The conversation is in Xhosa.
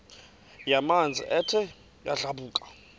yamanzi ethe yadlabhuka